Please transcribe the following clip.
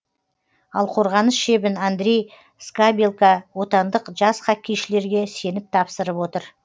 ал қорғаныс шебін андрей скабелка отандық жас хоккейшілерге сеніп тапсырып отыр